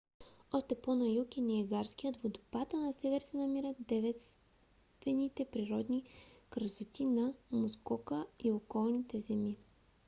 още по на юг е ниагарският водопад а на север се намират девствените природни красоти на мускока и околните земи